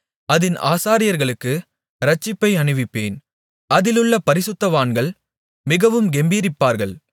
அதின் ஆசாரியர்களுக்கு இரட்சிப்பை அணிவிப்பேன் அதிலுள்ள பரிசுத்தவான்கள் மிகவும் கெம்பீரிப்பார்கள்